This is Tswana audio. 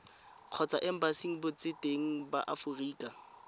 kgotsa embasing botseteng ba aforika